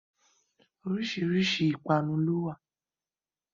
Oríṣiríṣi ìpanu lówà